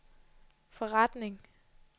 forretning